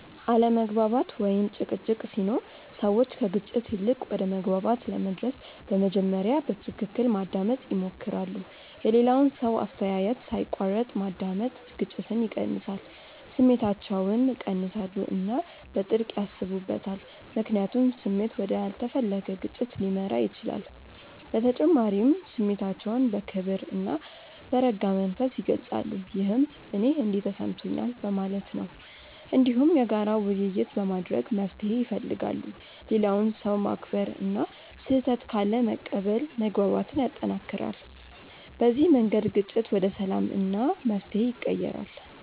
አለመግባባት ወይም ጭቅጭቅ ሲኖር ሰዎች ከግጭት ይልቅ ወደ መግባባት ለመድረስ በመጀመሪያ በትክክል ማዳመጥ ይሞክራሉ። የሌላውን ሰው አስተያየት ሳይቋረጥ ማዳመጥ ግጭትን ይቀንሳል። ስሜታቸውን ይቀንሳሉ እና በጥልቅ ያስቡበታል፣ ምክንያቱም ስሜት ወደ ያልተፈለገ ግጭት ሊመራ ይችላል። በተጨማሪም ስሜታቸውን በክብር እና በረጋ መንፈስ ይገልጻሉ፣ ይህም “እኔ እንዲህ ተሰምቶኛል” በማለት ነው። እንዲሁም የጋራ ውይይት በማድረግ መፍትሄ ይፈልጋሉ። ሌላውን ሰው ማክበር እና ስህተት ካለ መቀበል መግባባትን ያጠናክራል። በዚህ መንገድ ግጭት ወደ ሰላም እና መፍትሄ ይቀየራል።